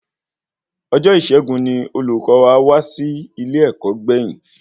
Ọjọ Isẹgun ní olùkọ wa wá sí ilẹ ẹkọ gbẹ̀yìn